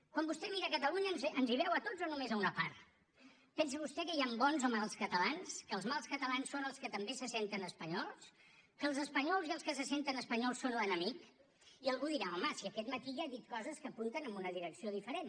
quan vostè mira a catalunya ens hi veu a tots o només a una part pensa vostè que hi han bons o mals catalans que els mals catalans són els que també se senten espanyols que els espanyols i els que se senten espanyols són l’enemic i algú dirà home si aquest matí ja ha dit coses que apunten en una direcció diferent